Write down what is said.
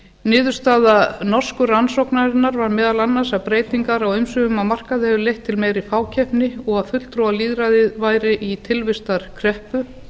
niðurstaða norsku rannsóknarinnar var meðal annars að breytingar á umsvifum á markaði höfðu leitt til meiri fákeppni og að fulltrúalýðræðið væri í tilvistarkreppu